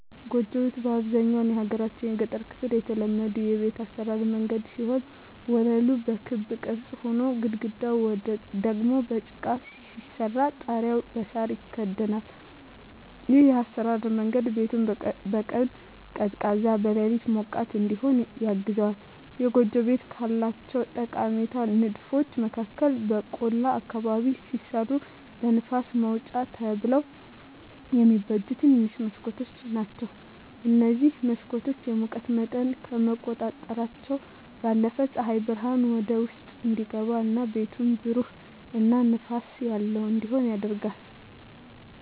ጎጆ ቤት በአብዛኛው የሀገራችን የገጠር ክፍል የተለመዱ የቤት አሰራር መንገድ ሲሆን ወለሉ በክብ ቅርጽ ሆኖ፣ ግድግዳው ደግሞ በጭቃ ሲሰራ ጣሪያው በሳር ይከደናል። ይህ የአሰራር መንገድ ቤቱን በቀን ቀዝቃዛ፣ በሌሊት ሞቃት እዲሆን ያግዘዋል። የጎጆ ቤቶች ካላቸው ጠቃሚ ንድፎች መካከል በቆላ አካባቢ ሲሰሩ ለንፋስ ማውጫ ተብለው የሚበጁ ትንንሽ መስኮቶች ናቸዉ። እነዚህ መስኮቶች የሙቀት መጠንን ከመቆጣጠራቸው ባለፈም ፀሐይ ብርሃን ወደ ውስጥ እንዲገባ እና ቤቱን ብሩህ እና ንፋስ ያለው እንዲሆን ያደርጋሉ።